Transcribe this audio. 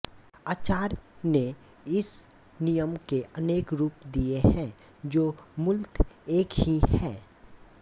आचार्यों ने इस नियम के अनेक रूप दिए हैं जो मूलत एक ही हैं